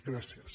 gràcies